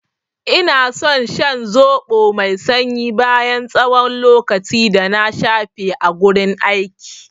Ina san shan zoɓo mai sanyi bayan tsawon lokaci dana shafe a gurin aiki.